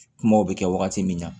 Kumaw bɛ kɛ wagati min na